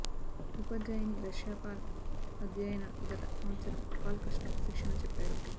ఉపాధ్యాయిని రష్యా పాల్ అధ్యయన గత సంవత్సరం కాల్ కష్టం శిక్షణ చెప్పారు